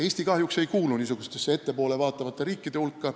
Eesti ei kuulu kahjuks niisuguste riikide hulka.